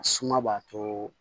Suma b'a to